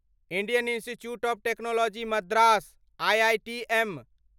Indian Institute of Technology Madras IITM